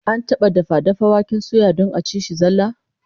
An taba dafa dafa waken suya don a ci shi zallah?